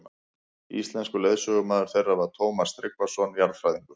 Íslenskur leiðsögumaður þeirra var Tómas Tryggvason jarðfræðingur.